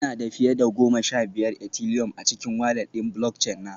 Ina da fiye da goma sha biyar Ethileum a cikin walat ɗin Bulockchin na